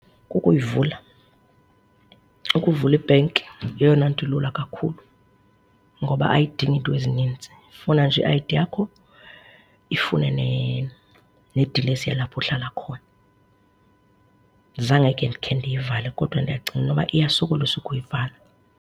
Kukuyivula, ukuvula i-bank yeyona nto ilula kakhulu ngoba ayidingi iinto ezinintsi. Ifuna nje i-I_D yakho ifune nedilesi yalapho uhlala khona. Zange ke ndikhe ndiyivale kodwa ndiyacinga inoba iyasokolisa ukuyivala.